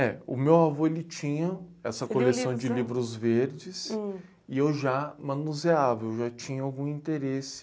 É, o meu avô ele tinha essa coleção de livros verdes... Hum... E eu já manuseava, eu já tinha algum interesse...